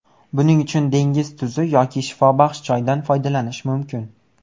Buning uchun dengiz tuzi yoki shifobaxsh choydan foydalanish mumkin.